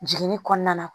Jiginni kɔnɔna na